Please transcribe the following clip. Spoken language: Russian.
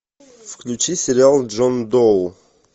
включи сериал джон доу